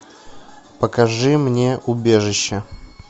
покажи мне убежище